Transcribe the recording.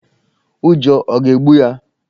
Ụjọ ọ̀ ga-egbu ya?